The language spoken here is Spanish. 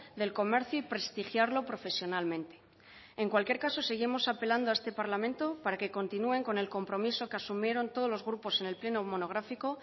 del comercio y prestigiarlo profesionalmente en cualquier caso seguimos apelando a este parlamento para que continúen con el compromiso que asumieron todos los grupos en el pleno monográfico